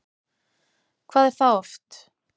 Hvað er það oft?